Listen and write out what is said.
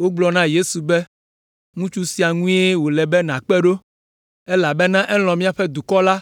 Wogblɔ na Yesu be, “Ŋutsu sia ŋue wòle be nàkpe ɖo, elabena elɔ̃ míaƒe dukɔ la